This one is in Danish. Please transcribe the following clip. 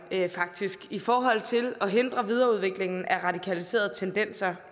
i forhold til at hindre videreudviklingen af radikaliserede tendenser